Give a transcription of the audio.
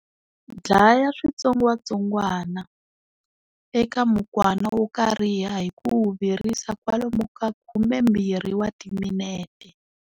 Dlaya switsongwatsongwa eka mukwana wo kariha hi ku wu virisa kwalomu ka 20 wa timinete.